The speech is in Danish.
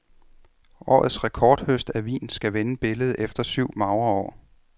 Årets rekordhøst af vin skal vende billedet efter syv magre år.